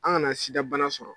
An kana sidabana sɔrɔ